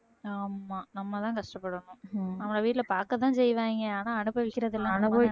ஆமா நம்ம தான் கஷ்டப்படணும் நம்மள வீட்ல பாக்கத்தான் செய்வாங்க ஆனா அனுபவிக்கிறது எல்லாம்